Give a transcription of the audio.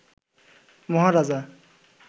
মহারাজা